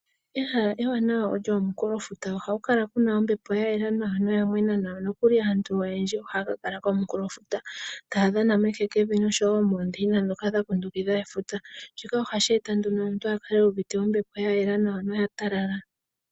Ehala ewanawa olyo omunkulofuta. Ohaku kala ku na ombepo ya yela nawa noya mwena nawa. Nokuli aantu oyendji ohaya ka kala komunkulofuta, taa dhana mehekevi noshowo moondeina ndhoka dha kundukidha efuta. Shika ohashi eta nduno omuntu a kale u uvite ombepo ya yela nawa noya talala.